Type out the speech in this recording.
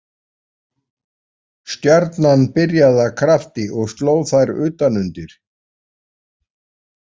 Stjarnan byrjaði af krafti og sló þær utan undir.